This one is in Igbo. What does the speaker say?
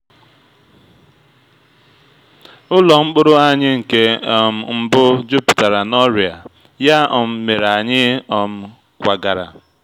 ụlọ mkpụrụ anyị nke um mbụ jupụtara na ọrịa ya um mere anyị um kwagara.